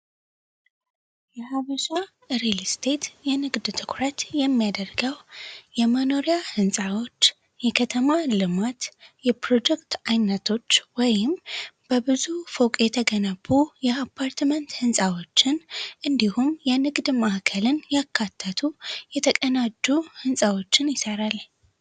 የሃበሻ ሪልስቴት የንግድ ትኩረት የሚያደርገው የመኖሪያ ንጻዎች የከተማ ልማት የፕሮጀክት አይነቶች ወይም በብዙ ፎቅ የተገነቡ የአፓርትመንት ህንፃዎችን እንዲሁም የንግድ ማዕከልን ያካተቱ የተቀናጡ ንፃዎችን ይሠራል ህንፃዎችን ይሰራል።